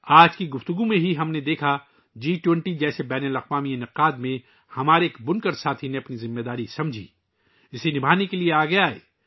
آج کی گفتگو میں ہی ہم نے دیکھا کہ جی 20 جیسے بین الاقوامی ایونٹ میں ہمارے ایک بنکر ساتھی نے اپنی ذمہ داری کو سمجھا اور اسے نبھانے کے لئے آگے آئے